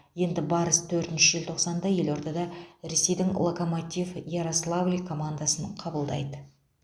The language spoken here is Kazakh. енді барыс төртінші желтоқсанда елордада ресейдің локомотив ярославль командасын қабылдайды